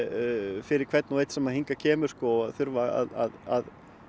fyrir hvern og einn sem hingað kemur að þurfa að